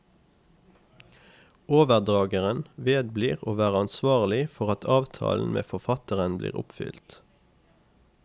Overdrageren vedblir å være ansvarlig for at avtalen med forfatteren blir oppfylt.